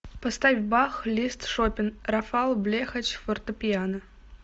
поставь бах лист шопен рафал блехач фортепиано